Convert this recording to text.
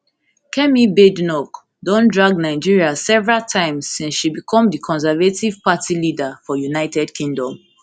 kemi badenoch don drag nigeria several times since she become di conservative party leader for united kingdom